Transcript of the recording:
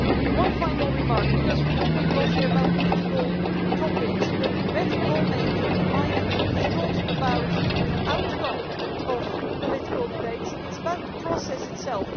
One final remark, because we are talking a lot about political topics here better law-making is not about the outcome of political debates, it is about the process itself.